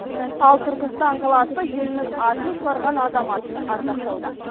ал түркістан қаласы елінің атын шығарған азаматын ардақтауда